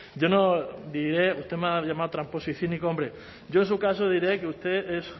yo no diré usted me ha llamado tramposo y cínico hombre yo en su caso diré que usted es